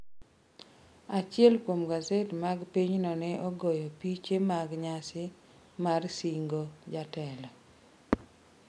Achiel kuom gaset mag pinyno ne ogoyo piche mag nyasi mar sing'o jatelo.